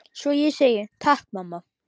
Svo ég segi: Takk mamma.